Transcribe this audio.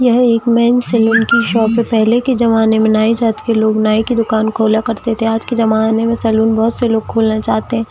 यह एक man salon की शॉप है पहले के जमाने मे नाई जात के लोग नाई की दुकान खोला करते थे आज के जमाने मे सैलून बहुत से लोग खोलना चाहते है।